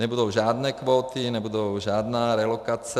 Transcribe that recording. Nebudou žádné kvóty, nebudou žádné relokace.